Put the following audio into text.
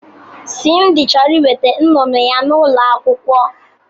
Simdi chọrọ iweta nnụnụ ya n'ụlọ akwụkwọ.